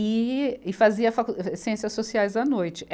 E, e fazia facu, eh ciências sociais à noite.